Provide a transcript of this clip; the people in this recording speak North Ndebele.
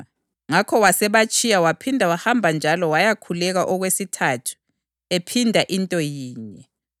Wathi esebuya wabafica njalo sebelele, ngoba amehlo abo ayenzima.